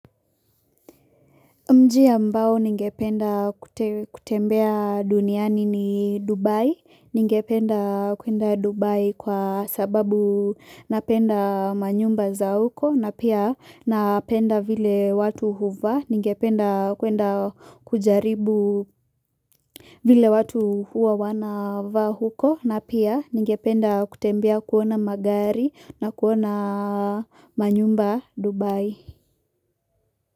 Mji ambao ningependa kutembea duniani ni Dubai ningependa kwenda Dubai kwa sababu napenda manyumba za huko na pia napenda vile watu huvaa ningependa kwenda kujaribu vile watu hua wanavaa huko na pia ningependa kutembea kuona magari na kuona manyumba Dubai.